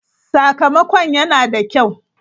Sakamakon yana da kyau.